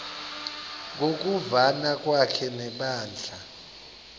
ngokuvana kwakhe nebandla